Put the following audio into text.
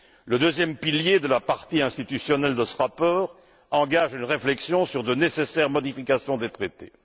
Le deuxième pilier de la partie institutionnelle de ce rapport engage une réflexion sur de nécessaires modifications des traités.